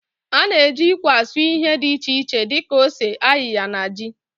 Ana eji ikwe asụ ihe di iche iche di ka ose, ayịya na ji.